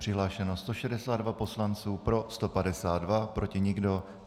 Přihlášeno 162 poslanců, pro 152, proti nikdo.